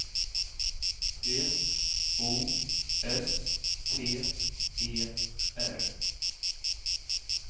P O S T E R